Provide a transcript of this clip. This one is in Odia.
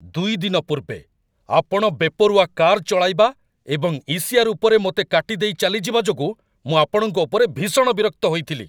୨ ଦିନ ପୂର୍ବେ, ଆପଣ ବେପରୁଆ କାର୍‌ ଚଳାଇବା ଏବଂ ଇ.ସି.ଆର୍. ଉପରେ ମୋତେ କାଟିଦେଇ ଚାଲିଯିବା ଯୋଗୁଁ ମୁଁ ଆପଣଙ୍କ ଉପରେ ଭୀଷଣ ବିରକ୍ତ ହୋଇଥିଲି।